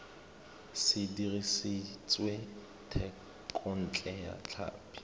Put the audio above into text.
se dirisitswe thekontle ya tlhapi